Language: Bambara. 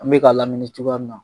An bɛ k'a lamini cogoya min na.